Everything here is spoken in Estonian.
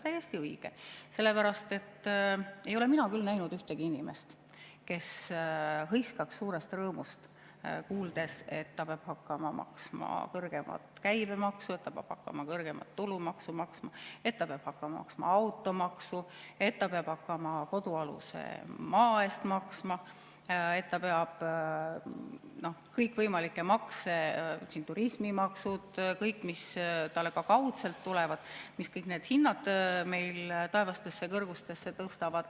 Täiesti õige, sellepärast et ei ole mina küll näinud ühtegi inimest, kes hõiskaks suurest rõõmust, kuuldes, et ta peab hakkama maksma kõrgemat käibemaksu, et ta peab hakkama maksma kõrgemat tulumaksu, et ta peab hakkama maksma automaksu, et ta peab hakkama kodualuse maa eest maksma, et ta peab maksma kõikvõimalikke makse, turismimaksu, kõike, mis talle ka kaudselt tulevad, mis kõik need hinnad meil taevastesse kõrgustesse tõstavad.